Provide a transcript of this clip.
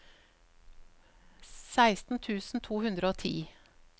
seksten tusen to hundre og ti